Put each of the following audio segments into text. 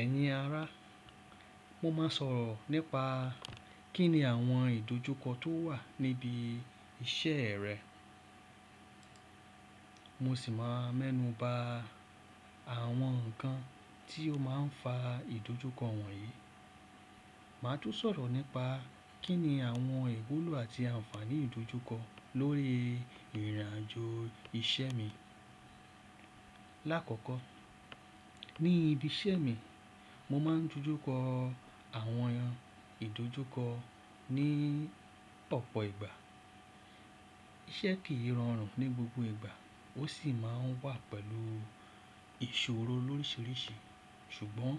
Ẹ̀yin ará, mo máa sọ̀rọ̀ nípa kíni àwọn ìdójúkọ tó wà níbi iṣẹ́ rẹ. Mo sì máa mẹ́nuba àwọn nǹkan tí ó máa ń fa ìdójúkọ wọ̀nyí. Màá tún sọ̀rọ̀ nípa kíni àwọn ìwúlò àti àǹfààní ìdójúkọ lórí ìrìnàjò iṣẹ́ mi. Láàkọ́kọ́, ní ibi iṣẹ́ mi, mo máa ń dojúkọ àwọn ìdójúkọ ní ọ̀pọ̀ ìgbà. Iṣẹ́ kì í rọrùn ní gbogbo ìgbà, ó sì máa ń wà pẹ̀lú ìṣòro lóríṣiríṣi. Ṣùgbọ́n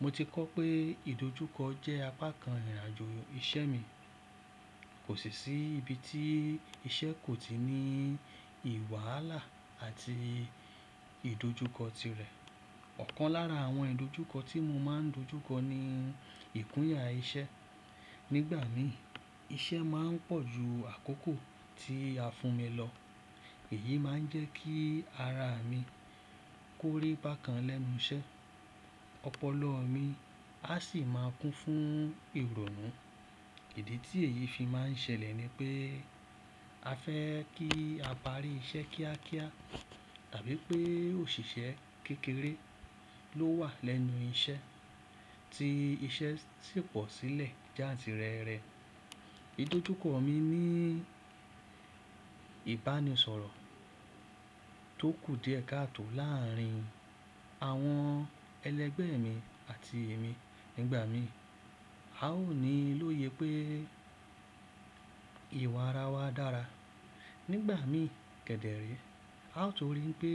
mo ti kọ́ pé ìdójúkọ jẹ́ apá kan ìrìnàjò iṣẹ́ mi. Kò sí sí ibi tí iṣẹ́ kò ti ní wàhálà àti ìdójúkọ tirẹ̀. Ọ̀kan lára àwọn ìdójúkọ tí mo máa ń dojúkọ ni ìkúnya iṣẹ́. Nígbà mìí, iṣẹ́ máa ń pọ̀ ju àkókò tí a fún mi lọ. Èyí máa ń jẹ́ kí ara mi kórí bákan lẹ́nu iṣẹ́. Ọpọlọ mi a sì máa kún fún ìrọ̀rùn. Èdè tí èyí fi máa ń ṣẹlẹ̀ ni pé a fẹ́ kí a parí iṣẹ́ kíákíá tàbí pé òṣìṣẹ́ kékeré ló wà lẹ́nu iṣẹ́ tí iṣẹ́ sì pọ̀ sílẹ̀ jáàtìrẹrẹ. Ìdójúkọ mi ní ìbánisọ̀rọ̀ tó kù díẹ̀ káàtò láàrín àwọn ẹlẹgbẹ́ mi àti èmi. Nígbà mìí, a ó ní lóye pé ìwà ara wa dára. Nígbà mìí, kẹ̀dẹ̀ rẹ́, a ó torí pé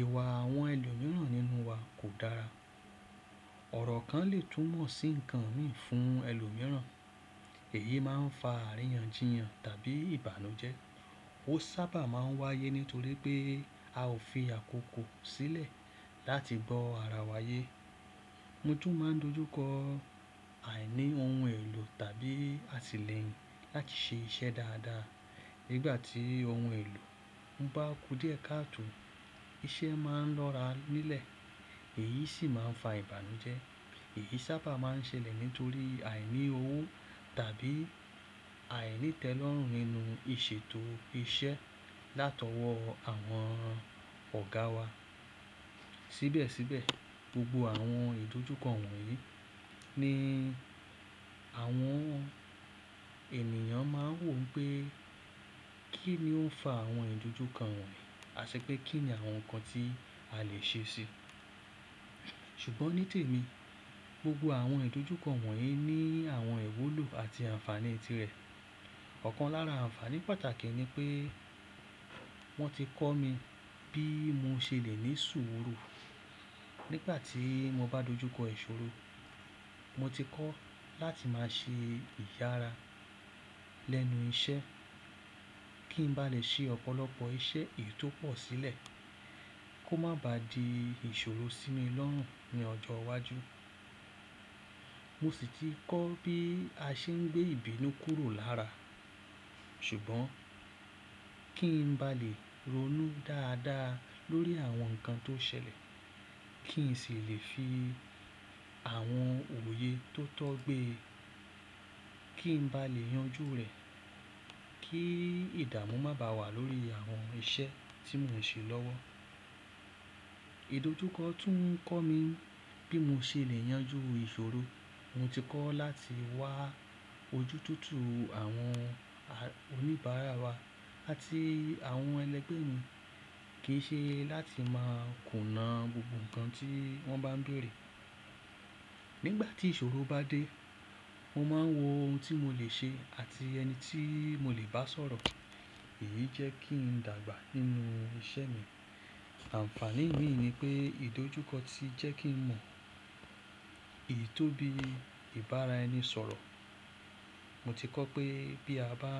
ìwà àwọn ẹlòmíràn nínú wa kò dára. Ọ̀rọ̀ kan lè tún mọ̀ sí nǹkan mì fún ẹlòmíràn. Èyí máa ń fa aríyanjiyàn tàbí ìbànújẹ́. Ó sábà máa ń wáyé nítorí pé a ò fi àkókò sílẹ̀ láti gbọ́ ara wa yé. Mo tún máa ń dojúkọ àìní ohun èlò tàbí àtìlẹ́yìn láti ṣe iṣẹ́ dáadáa. Nígbà tí ohun èlò ń bá kú díẹ̀ káàtò, iṣẹ́ máa ń lọ́ra nílẹ̀. Èyí sì máa ń fa ìbànújẹ́. Èyí sábà máa ń ṣẹlẹ̀ nítorí àìní owo tàbí àìní itẹlọrun nínú ìṣètò iṣẹ́ látọwọ́ àwọn ọ̀gá wa. Síbẹ̀síbẹ̀, gbogbo àwọn ìdójúkọ wọ̀nyí ni àwọn ènìyàn máa ń wò pé kí ni ó ń fa àwọn ìdójúkọ wọ̀nyí àṣẹ pé kí ni àwọn nǹkan tí a lè ṣe síi. Ṣùgbọ́n ní tèmi, gbogbo àwọn ìdójúkọ wọ̀nyí ní àwọn ìwúlò àti àǹfààní tirẹ̀. Ọ̀kan lára àǹfààní pàtàkì ni pé wọ́n ti kọ́ mi bí mo ṣe lè ní sùúrù nígbà tí mo bá dojúkọ ìṣòro. Mo ti kọ́ láti máa ṣe ìyára lẹ́nu iṣẹ́ kí n ba lè ṣe ọ̀pọ̀lọpọ̀ iṣẹ́ èyí tó pọ̀ sílẹ̀ kó má ba di ìṣòro sí mi lọ́rùn ní ọjọ́ iwájú. Mo sì ti kọ́ bí a ṣe ń gbé ìbínú kúrò lára. Ṣùgbọ́n kí n ba lè ronú dáadáa lórí àwọn nǹkan tó ṣẹlẹ̀ kí n sì lè fi àwọn òye tó tọ́ gbé, kí n ba lè yanjú rẹ̀ kí ìdààmú má bàa wà lórí àwọn iṣẹ́ tí mò ń ṣe lọ́wọ́. Ìdójúkọ tún kọ́ mi bí mo ṣe lè yanjú ìṣòro. Mo ti kọ́ láti wá ojú tútù àwọn oníbàárà wa àti àwọn ẹlẹgbẹ́ mi. Kì í ṣe láti máa kùnà gbogbo nǹkan tí wọ́n bá ń béèrè. Nígbà tí ìṣòro bá dé, mo máa ń wo ohun tí mo lè ṣe àti ẹni tí mo lè bá sọ̀rọ̀. Èyí jẹ́ kí n dàgbà nínú iṣẹ́ mi. Àǹfààní mìi ni pé ìdójúkọ ti jẹ́ kí n mọ èyí tó bí ìbára ẹni sọ̀rọ̀. Mo ti kọ́ pé bí a bá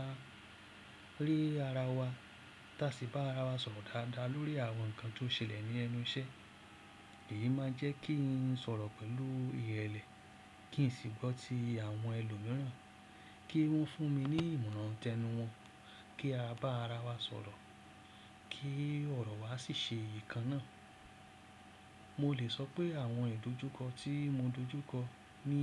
ré ara wa tá sì bá ara wa sọ̀rọ̀ dáadáa lórí àwọn nǹkan tó ṣẹlẹ̀ ní ẹnu iṣẹ́, èyí máa jẹ́ kí n sọ̀rọ̀ pẹ̀lú ìrẹ̀lẹ̀ kí n sì gbọ́ ti àwọn ẹlòmíràn kí wọ́n fún mi ní ìmọ̀ràn tẹnu wọn kí a bá ara wa sọ̀rọ̀ kí ọ̀rọ̀ wa sì ṣe iye kan náà. Mo lè sọ pé àwọn ìdójúkọ tí mo dojúkọ ní.